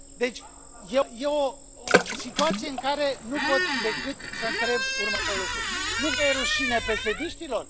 Așadar, e o situație în care nu pot decât să întreb următorul lucru nu vă e rușine, pesediștilor?